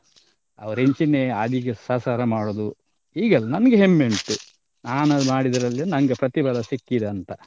ಅವ್ರು ಇಂಚಿನೆ ಸಸಾರ ಮಾಡುದು ಹೀಗೆಲ್ಲ ನಮಿಗೆ ಹೆಮ್ಮೆ ಉಂಟು ನಾನ್ ಮಾಡಿದರಲ್ಲಿ ನಂಗೆ ಪ್ರತಿಫಲ ಸಿಕ್ಕಿದೆ ಅಂತ.